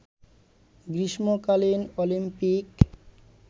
গ্রীষ্মকালীন অলিম্পিক